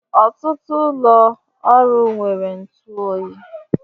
Ọtụtụ ụlọ ọrụ nwere ntụ oyi